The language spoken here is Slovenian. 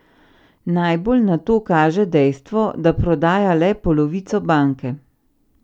Najbolj na to kaže dejstvo, da prodaja le polovico banke.